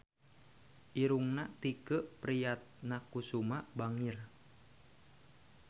Irungna Tike Priatnakusuma bangir